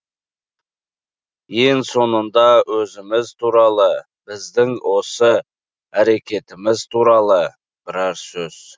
ең соңында өзіміз туралы біздің осы әрекетіміз туралы бірар сөз